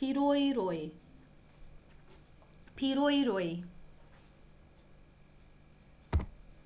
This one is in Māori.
pīroiroi